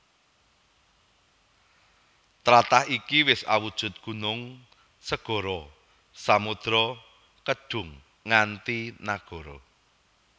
Tlatah iki isa awujud gunung segara samudra kedhung nganti nagara